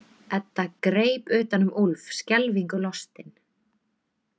Edda greip utan um Úlf skelfingu lostin.